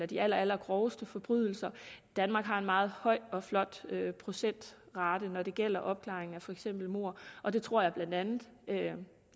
de allerallergroveste forbrydelser danmark har en meget høj og flot procentrate når det gælder opklaringen af for eksempel mord og det tror jeg blandt andet